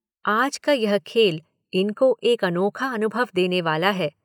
आज का यह खेल इनको एक अनोखा अनुभव देने वाला है।